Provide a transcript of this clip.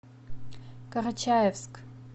карачаевск